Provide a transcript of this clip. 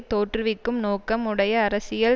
தோற்றுவிக்கும் நோக்கம் உடைய அரசியல்